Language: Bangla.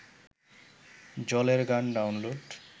জলের গান ডাউনলোড